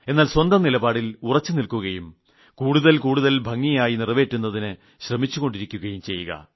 എന്നാൽ സ്വന്തം നിലപാടിൽ ഉറച്ചു നിൽക്കുകയും കുറച്ചു കൂടുതൽ ഭംഗിയായി നിറവേറ്റുന്നതിന് ശ്രമിച്ചുകൊണ്ടിരിക്കുകയും ചെയ്യുക